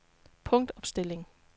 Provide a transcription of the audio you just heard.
punktopstilling